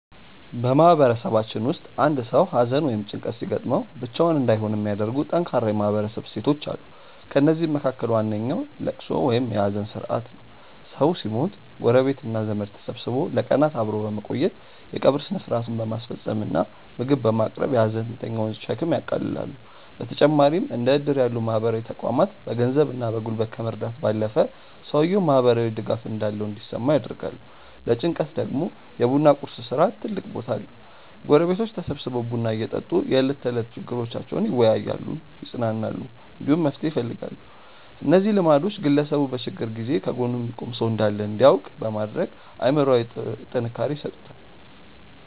በማህበረሰባችን ውስጥ አንድ ሰው ሐዘን ወይም ጭንቀት ሲገጥመው ብቻውን እንዳይሆን የሚያደርጉ ጠንካራ የማህበረሰብ እሴቶች አሉ። ከእነዚህም መካከል ዋነኛው ልቅሶ ወይም የሐዘን ሥርዓት ነው። ሰው ሲሞት ጎረቤትና ዘመድ ተሰብስቦ ለቀናት አብሮ በመቆየት፣ የቀብር ሥነ ሥርዓቱን በማስፈጸም እና ምግብ በማቅረብ የሐዘንተኛውን ሸክም ያቃልላሉ። በተጨማሪም እንደ ዕድር ያሉ ማህበራዊ ተቋማት በገንዘብና በጉልበት ከመርዳት ባለፈ፣ ሰውየው ማህበራዊ ድጋፍ እንዳለው እንዲሰማው ያደርጋሉ። ለጭንቀት ደግሞ የ ቡና ቁርስ ሥርዓት ትልቅ ቦታ አለው፤ ጎረቤቶች ተሰብስበው ቡና እየጠጡ የዕለት ተዕለት ችግሮቻቸውን ይወያያሉ፣ ይጽናናሉ፣ እንዲሁም መፍትሄ ይፈልጋሉ። እነዚህ ልማዶች ግለሰቡ በችግር ጊዜ ከጎኑ የሚቆም ሰው እንዳለ እንዲያውቅ በማድረግ አእምሮአዊ ጥንካሬ ይሰጡታል።